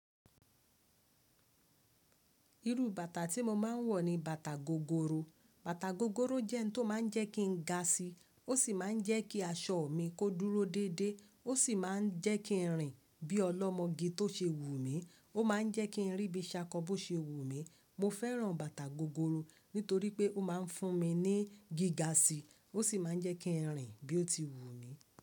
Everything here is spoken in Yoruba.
Irú bàtà tí mo máa ń wọ̀ ni bàtà gogoro. Bàtà gogoro jẹ́ n tó máa ń jẹ́ kí n ga síí, ó sì máa ń jẹ́ kí aṣọ mi kó dúró dédé, ó sì máa ń jẹ́ kí n rìn bí ọlọ́mọge tó ṣe wù mí. Ó máa ń jẹ́ kí n rí bí i ṣakọ bó ṣe wù mí. Mo fẹ́ràn bàtà gogoro nítorí pé ó máa ń fún mi ní gíga síí, ó sì máa ń jẹ́ kí n rìn bí i ó ti wù mí.